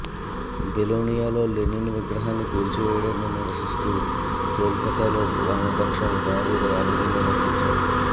బెలోనియాలో Lenin విగ్రహాన్ని కూల్చివేయడాన్ని నిరసిస్తూ కోల్ కత్తాలో వామపక్షాలు భారీ ర్యాలీ నిర్వహించాయి